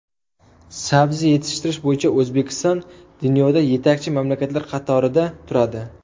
Sabzi yetishtirish bo‘yicha O‘zbekiston dunyoda yetakchi mamlakatlar qatorida turadi.